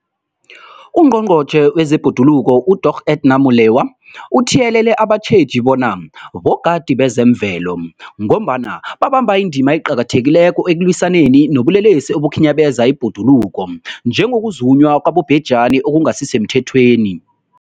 UNgqongqotjhe wezeBhoduluko uDorh Edna Molewa uthiyelele abatjheji bona bogadi bezemvelo, ngombana babamba indima eqakathekileko ekulwisaneni nobulelesi obukhinyabeza ibhoduluko, njengokuzunywa kwabobhejani okungasisemthethweni.